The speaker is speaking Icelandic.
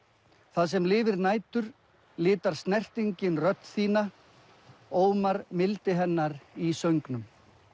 það sem lifir nætur litar snertingin rödd þína Ómar mildi hennar í söngnum